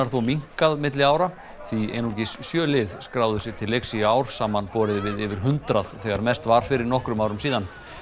þó minnkað milli ára því einungis sjö lið skráðu sig til leiks í ár samanborið við yfir hundrað þegar mest var fyrir nokkrum árum síðan